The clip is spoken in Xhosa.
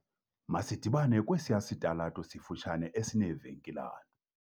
Masidibane kwesiya sitalato sifutshane esineevenkilana.